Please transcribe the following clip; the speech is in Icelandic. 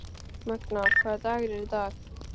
Magna, hvaða dagur er í dag?